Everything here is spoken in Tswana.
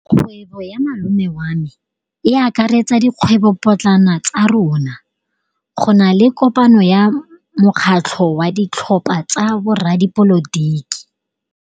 Kgwêbô ya malome wa me e akaretsa dikgwêbôpotlana tsa rona. Go na le kopanô ya mokgatlhô wa ditlhopha tsa boradipolotiki.